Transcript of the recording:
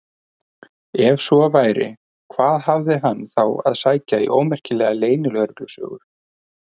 Ef svo væri, hvað hafði hann þá að sækja í ómerkilegar leynilögreglusögur?